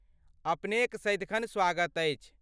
अपनेक सदिखन स्वागत अछि।